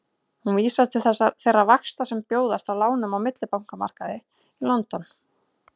Hún vísar til þeirra vaxta sem bjóðast á lánum á millibankamarkaði í London.